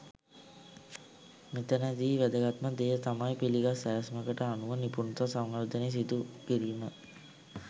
මෙතැනදී වැදගත්ම දෙය තමයි පිළිගත් සැලැස්මකට අනුව නිපුණතා සංවර්ධනය සිදු කිරීම.